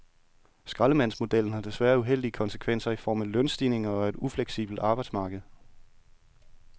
Skraldemandsmodellen har desværre uheldige konsekvenser i form af lønstigninger og et ufleksibelt arbejdsmarked.